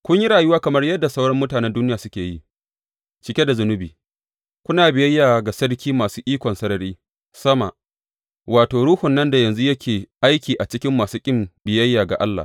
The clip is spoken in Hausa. Kun yi rayuwa kamar yadda sauran mutanen duniya suke yi, cike da zunubi, kuna biyayya ga sarki masu ikon sarari sama, wato, ruhun nan da yanzu yake aiki a cikin masu ƙin biyayya ga Allah.